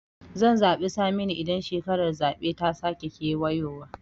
Zan zaɓi Saminu idan shekarar zaɓe ta sake kewayowa